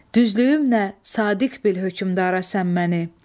Düzlüyüm nə, sadiq bil hökmdara sən məni.